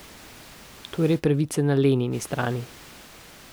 Torej je pravica na Lenini strani.